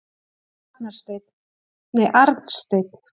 Arnsteinn